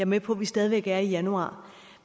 med på at vi stadig væk er i januar